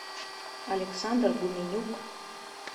александр гуменюк